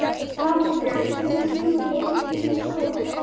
Natalía, hvenær kemur leið númer tólf?